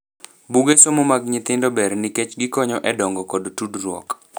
Buge somo mag nyithindo ber nikech gikonyo e dongo kod tudruok.